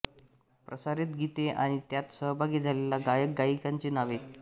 प्रसारित गीते आणि त्यात सहभागी झालेल्या गायकगायिकांची नावे